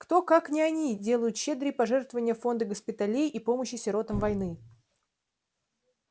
кто как не они делают щедрые пожертвования в фонды госпиталей и помощи сиротам войны